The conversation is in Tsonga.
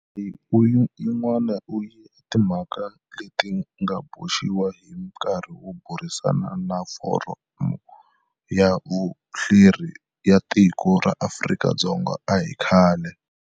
Leyi ui yin'wana ya timhaka leti nga boxiwa hi nkarhi wo burisana na Foramu ya Vuhleri ya Tiko ra Afrika-Dzonga a hi khale.